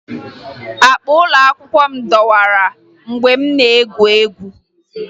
Akpa ụlọakwụkwọ m dọwara mgbe m na-egwu egwu